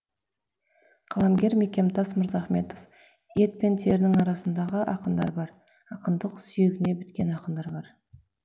қаламгер мекемтас мырзахметов ет пен терінің арасындағы ақындар бар ақындық сүйегіне біткен ақындар бар